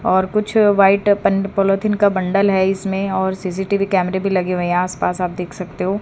और कुछ white polythene का बंडल है इसमें और सी_सी_टी_वी कैमरे भी लगे हुए हैं आसपास आप देख सकते हो।